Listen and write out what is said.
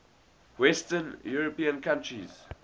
western european countries